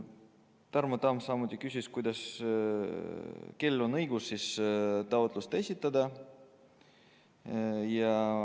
Tarmo Tamm küsis sedagi, kellel on õigus taotlus esitada.